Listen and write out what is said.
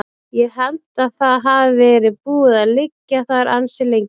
Ég held að það hafi verið búið að liggja þar ansi lengi.